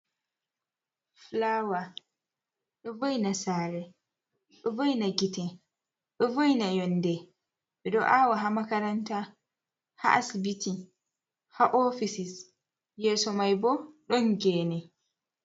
Fulaawa, ɗo vo'ina saare, ɗo vo'ina gite, ɗo vo'ina yonnde, ɓe ɗo aawa haa makaranta, haa asbiti, haa ofisis. Yeeso may bo ɗon geene.